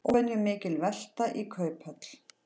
Óvenjumikil velta í Kauphöll